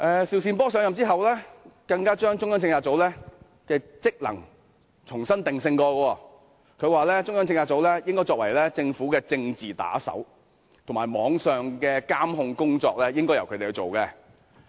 邵善波上任後，更將中策組的職能重新定性，他說中策組應該作為政府的政治打手，而網上的監控工作亦應該由他們進行。